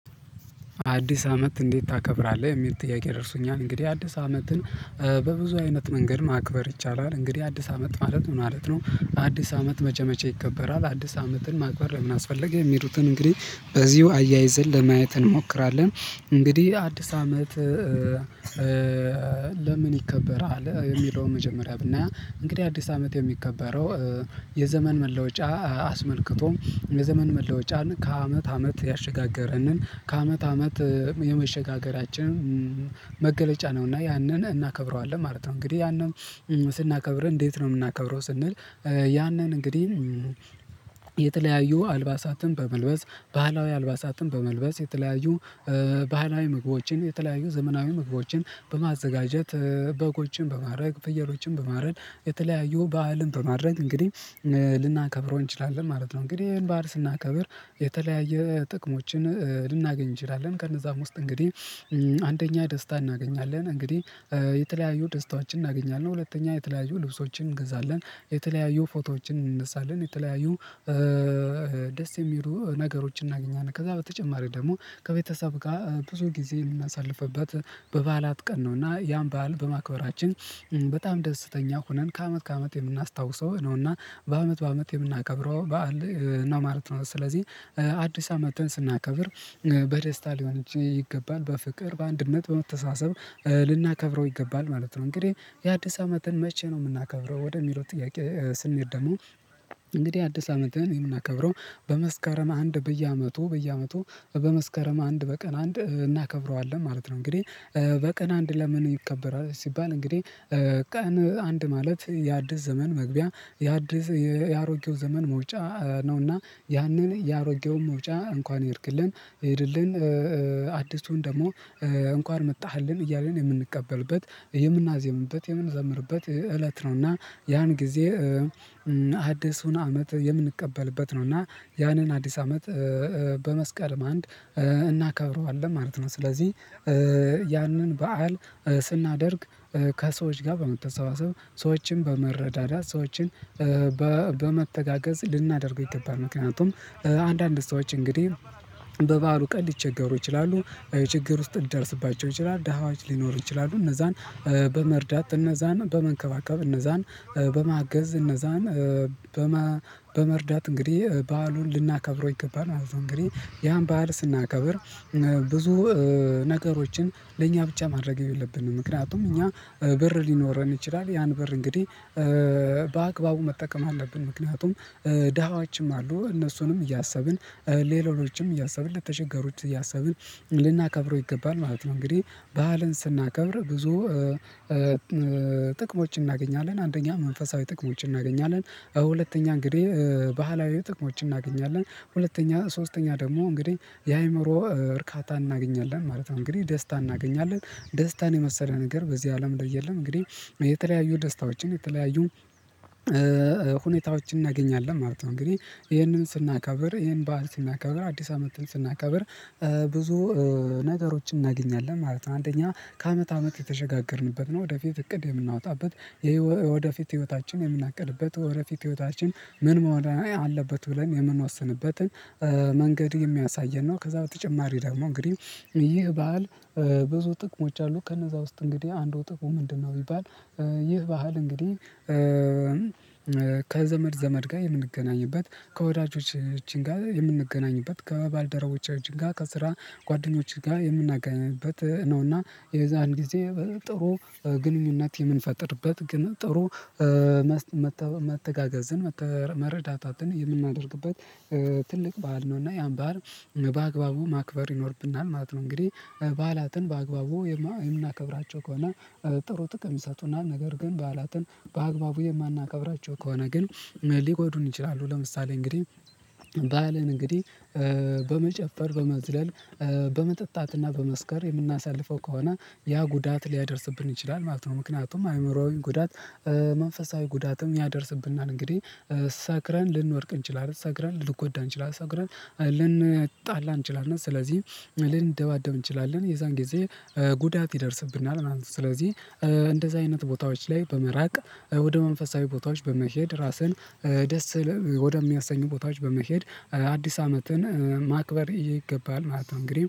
አዲስ አመት እንዴት ታከብራለህ የሚል ጥያቄ ደርሶኛል እንግዲህ አዲስ አመትን። በብዙ አይነት መንገድ ማክበር ይቻላል እንግዲህ አዲስ አመት ማለት ምን ማለት ነው? አዲስ አመት መቼ መቼ ይከበራል? አዲስ አመትን ማክበር ለምን አስፈለገ የሚሉትን እንግዲህ በዚሁ አያይዘን ለማየት እንሞክራለን። እንግዲህ አዲስ አመት? ለምን ይከበራል የሚለው መጀመሪያ ብናይ እንግዲህ አዲስ አመት የሚከበረው። የዘመን መለወጫ አስመልክቶ የዘመን መለወጫን ከአመት አመት ያሸጋገረንን ከአመት አመት የመሸጋገሪያችን። መገለጫ ነውና ያንን እናከብረዋለን ማለት ነው። እንግዲህ ያንን ስናከብር እንዴት ነው የምናከብረው ስንል? ያንን እንግዲህ የተለያዩ አልባሳትን በመልበስ ባህላዊ አልባሳትን በመልበስ የተለያዩ ባህላዊ ምግቦችን የተለያዩ ዘመናዊ ምግቦችን በማዘጋጀት በጎችን በማረድ ፍየሎችን በማረድ የተለያዩ ባህልን በማድረግ እንግዲህ ልናከብረው እንችላለን ማለት ነው። እንግዲህ ይሄን ባህል ስናከብር የተለያየ ጥቅሞችን ልናገኝ እንችላለን ከነዛም ውስጥ እንግዲህ አንደኛ ደስታ እናገኛለን። እንግዲህ የተለያዩ ደስታዎችን እናገኛለን ሁለተኛ የተለያዩ ልብሶችን እንገዛለን የተለያዩ ፎቶዎችን እንነሳለን። የተለያዩ ደስ የሚሉ ነገሮችን እናገኛለን ከዛ በተጨማሪ ደግሞ ከቤተሰብ ጋር ብዙ ጊዜ የምናሳልፍበት በበዓላት ቀን ነው። እና ያን በዓል በማክበራችን በጣም ደስተኛ ሆነን ከአመት ከአመት የምናስታውሰው ነውና በአመት በአመት የምናከብረው በዓል ነው ማለት ነው። ስለዚህ አዲስ አመትን ስናከብር በደስታ ሊሆን ይገባል በፍቅር በአንድነት በመተሳሰብ ልናከብረው ይገባል ማለት ነው። እንግዲህ የአዲስ አመትን መቼ ነው የምናከብረው? ወደሚለው ጥያቄ ስንሄድ ደግሞ እንግዲህ አዲስ አመትን የምናከብረው በመስከረም አንድ በየአመቱ በየአመቱ በመስከረም አንድ በቀን አንድ እናከብረዋለን ማለት ነው። እንግዲህ በቀን አንድ ለምን ይከበራል? ሲባል እንግዲህ ቀን አንድ ማለት የአዲስ ዘመን መግቢያ የአዲስ የአሮጌው ዘመን መውጫ ነውና ያንን የአሮጌውን መውጫ እንኳን ሄድክልን ሂድልን አዲሱን ደግሞ እንኳን መጣህልን እያልን የምንቀበልበት የምናዜምበት የምንዘምርበት እለት ነው። እና ያን ጊዜ አዲሱን አመት የምንቀበልበት ነው። እና ያንን አዲስ አመት በመስከረም አንድ እናከብረዋለን ማለት ነው። ስለዚህ ያንን በዓል ስናደርግ ከሰዎች ጋር በመተሳሰብ ሰዎችን በመረዳዳት ሰዎችን በመተጋገዝ ልናደርገው ይገባል። ምክንያቱም አንዳንድ ሰዎች እንግዲህ በበዓሉ ቀን ሊቸገሩ ይችላሉ የችግር ውስጥ ሊደርስባቸው ይችላል ድሃዎች ሊኖሩ ይችላሉ እነዛን በመርዳት እነዛን በመንከባከብ እነዛን በማገዝ እነዛን በማ በመርዳት እንግዲህ በዓሉን ልናከብረው ይገባል። ማለት ነው እንግዲህ ያን በዓል ስናከብር ብዙ ነገሮችን ለእኛ ብቻ ማድረግ የለብንም። ምክንያቱም እኛ ብር ሊኖረን ይችላል ያን ብር እንግዲህ በአግባቡ መጠቀም አለብን ምክንያቱም ድሃዎችም አሉ እነሱንም እያሰብን ሌሎችም እያሰብን ለተቸገሩት እያሰብን ልናከብረው ይገባል ማለት ነው። እንግዲህ ባህልን ስናከብር ብዙ ጥቅሞችን እናገኛለን አንደኛ መንፈሳዊ ጥቅሞችን እናገኛለን። ሁለተኛ እንግዲህ ባህላዊ ጥቅሞች እናገኛለን ሁለተኛ ሶስተኛ ደግሞ እንግዲህ የአእምሮ እርካታ እናገኛለን ማለት ነው። እንግዲህ ደስታ እናገኛለን ደስታን የመሰለ ነገር በዚህ አለም ላይ የለም። እንግዲህ የተለያዩ ደስታዎችን የተለያዩ ሁኔታዎችን እናገኛለን ማለት ነው። እንግዲህ ይሄንን ስናከብር ይሄን በዓል ስናከብር አዲስ አመትን እናከብር ብዙ ነገሮችን እናገኛለን ማለት ነው። አንደኛ ከአመት አመት የተሸጋገርንበት ነው ወደፊት እቅድ የምናወጣበት የወደፊት ህይወታችን የምናቅድበት ወደፊት ህይወታችን ምን መሆን አለበት ብለን የምንወስንበትን መንገድ የሚያሳየን ነው። ከዛ በተጨማሪ ደግሞ እንግዲህ ይህ በዓል ብዙ ጥቅሞች አሉ ከነዛ ውስጥ እንግዲህ አንዱ ጥቅሙ ምንድነው? ቢባል ይህ ባህል እንግዲህ ከዘመድ ዘመድ ጋር የምንገናኝበት ከወዳጆቻችን ጋር የምንገናኝበት ከባልደረቦቻችን ጋር ከስራ ጓደኞች ጋር የምናገኝበት ነውና የዛን ጊዜ ጥሩ ግንኙነት የምንፈጥርበት ግን ጥሩ መስ መተጋገዝን መረዳታትን የምናደርግበት ትልቅ በዓል ነው። እና ያን በዓል በአግባቡ ማክበር ይኖርብናል ማለት ነው። እንግዲህ በዓላትን በአግባቡ የምናከብራቸው ከሆነ ጥሩ ጥቅም ይሰጡናል። ነገር ግን በዓላትን በአግባቡ የማናከብራቸው ከሆነ ግን ሊጎዱን ይችላሉ። ለምሳሌ እንግዲህ በዓልን እንግዲህ በመጨፈር በመዝለል በመጠጣትና በመስከር የምናሳልፈው ከሆነ ያ ጉዳት ሊያደርስብን ይችላል። ማለት ነው ምክንያቱም አእምሮአዊ ጉዳት መንፈሳዊ ጉዳትም ያደርስብናል። እንግዲህ ሰክረን ልንወድቅ እንችላለን። ሰክረን ልንጎዳ እንችላለን። ሰክረን ልንጣላ እንችላለን። ስለዚህ ልንደባደብ እንችላለን የዛን ጊዜ ጉዳት ይደርስብናል ማለት ነው። ስለዚህ እንደዛ አይነት ቦታዎች ላይ በመራቅ ወደ መንፈሳዊ ቦታዎች በመሄድ ራስን ደስ ወደሚያሰኙ ቦታዎች በመሄድ አዲስ አመትን ማክበር ይገባል ማለት ነው። እንግዲህ